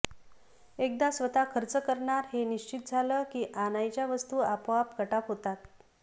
एकदा स्वतः खर्च करणार हे निश्चित झालं की आणायच्या वस्तु आपोआप कटाप होतात